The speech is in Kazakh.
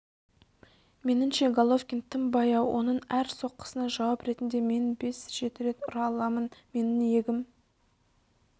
меніңше головкин тым баяу оның әр соққысына жауап ретінде мен бес-жеті рет ұра аламын менің иегім